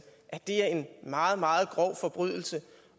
at det er en meget meget grov forbrydelse